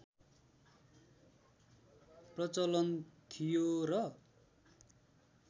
प्रचलन थियो र